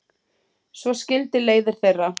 Svo skildi leiðir þeirra.